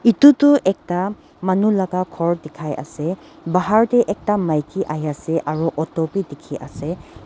edu tu ekta manu laka khor dikhai ase bahar tae ekta maki ahiase aro auto bi dikhiase.